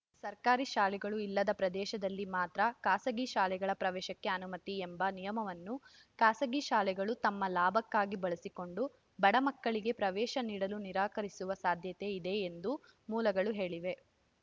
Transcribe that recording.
ಸರ್ಕಾರಿ ಶಾಲೆಗಳು ಇಲ್ಲದ ಪ್ರದೇಶದಲ್ಲಿ ಮಾತ್ರ ಖಾಸಗಿ ಶಾಲೆಗಳ ಪ್ರವೇಶಕ್ಕೆ ಅನುಮತಿ ಎಂಬ ನಿಯಮವನ್ನು ಖಾಸಗಿ ಶಾಲೆಗಳು ತಮ್ಮ ಲಾಭಕ್ಕಾಗಿ ಬಳಸಿಕೊಂಡು ಬಡ ಮಕ್ಕಳಿಗೆ ಪ್ರವೇಶ ನೀಡಲು ನಿರಾಕರಿಸುವ ಸಾಧ್ಯತೆ ಇದೆ ಎಂದು ಮೂಲಗಳು ಹೇಳಿವೆ